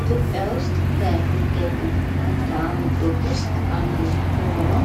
ኢትዮጵያ ውስጥ ከሚገኙ መልካምድሮች ውስጥ አንዱ የሆነው